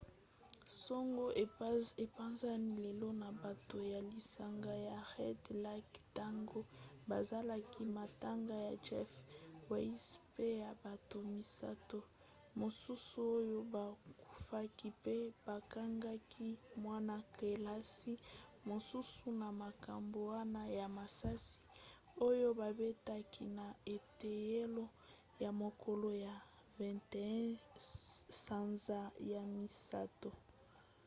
sango epanzani lelo na bato ya lisanga ya red lake ntango bazalaki matanga ya jeff weise mpe ya bato misato mosusu oyo bakufaki mpe bakangaki mwana-kelasi mosusu na makambo wana ya masasi oyo babetaki na eteyelo na mokolo ya 21 sanza ya misato